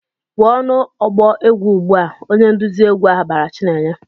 "Pụọ n'ọgbọ egwu ugbu a!" Onye nduzi egwu ahụ bara Chinenye.